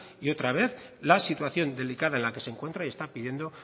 y otra vez la situación delicada en la que se encuentra y está pidiendo